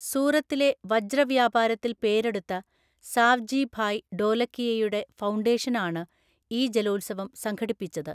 സൂറത്തിലെ വജ്രവ്യാപാരത്തിൽ പേരെടുത്ത സാവ്ജി ഭായ് ഢോലകിയയുടെ ഫൗണ്ടേഷനാണ് ഈ ജലോത്സവം സംഘടിപ്പിച്ചത്.